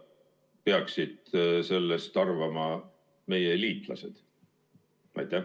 Mida peaksid sellest arvama meie liitlased?